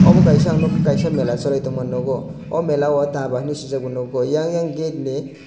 obo kisa ang kisa mela choli tongma nogo o mela o dhaba hinui sijak nogo eyang oyang gate ni.